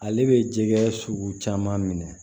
Ale bɛ jɛgɛ sugu caman minɛ